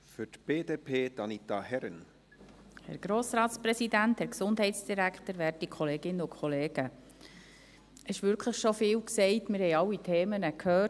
Es wurde wirklich schon vieles gesagt, und wir haben alle Themen schon gehört.